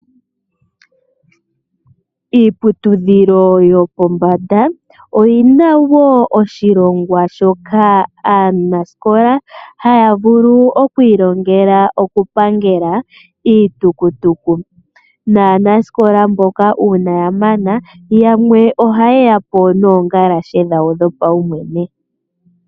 Iiputudhilo yopombanda, oyi na wo oshilongwa shoka aanasikola ha ya vulu okwiilongela okupangela iitukutulu. Naanasikola mboka uuna ya mana, yamwe oha ye ya po noongalashe dhawo dhopaumwene.